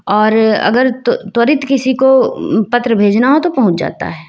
और अगर त्व त्वरित किसी को उम्म पत्र भेजना हो तो पहुंच जाता है।